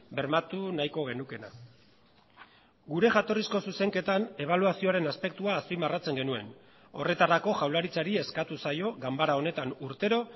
bermatu nahiko genukeena gure jatorrizko zuzenketan ebaluazioaren aspektua azpimarratzen genuen horretarako jaurlaritzari eskatu zaio ganbara honetan urtero